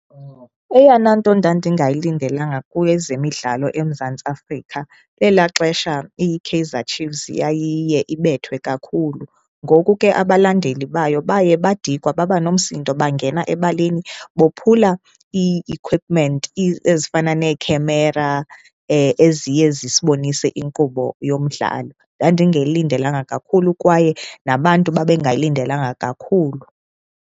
Eyona nto ndandingayilindelanga kwezemidlalo eMzantsi Afrika elaa xesha iKaizer Chiefs yayiye ibethwe kakhulu. Ngoku ke abalandeli bayo baye badikwa babanomsindo bangena ebaleni bophula ii-equipment ezifana nekhemera eziye zisibonise inkqubo yomdlalo. Ndandingayilindelanga kakhulu kwaye nabantu babengayilindelanga kakhulu.